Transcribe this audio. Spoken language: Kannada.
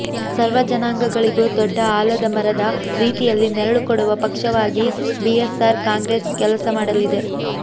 ಸರ್ವ ಜನಾಂಗಗಳಿಗೂ ದೊಡ್ಡ ಆಲದ ಮರದ ರೀತಿಯಲ್ಲಿ ನೆರಳು ಕೊಡುವ ಪಕ್ಷವಾಗಿ ಬಿಎಸ್ಆರ್ ಕಾಂಗ್ರೆಸ್ ಕೆಲಸ ಮಾಡಲಿದೆ